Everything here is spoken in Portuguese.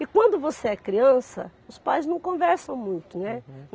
E quando você é criança, os pais não conversam muito, né?